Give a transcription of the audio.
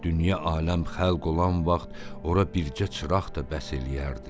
Dünya aləm xəlq olan vaxt ora bircə çıraq da bəs eləyərdi.